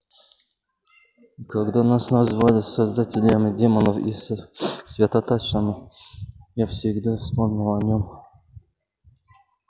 и когда нас называли создателями демонов и святотатцами я всегда вспоминала о нем